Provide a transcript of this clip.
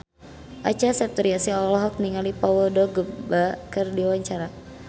Acha Septriasa olohok ningali Paul Dogba keur diwawancara